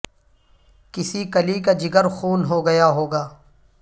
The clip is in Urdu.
کسی کلی کا جگر خون ہو گیا ہو گا